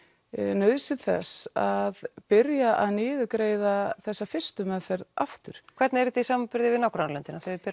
nauðsyn þess að byrja að niðurgreiða þessa fyrstu meðferð aftur hvernig er þetta í samanburði við nágrannalöndin